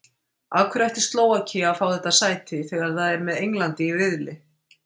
Af hverju ætti Slóvakía að fá þetta sæti þegar það er með Englandi í riðli?